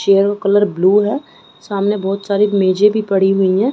Chair colour blue है सामने बहुत सारी मेजे भी पड़ी हुई हैं ।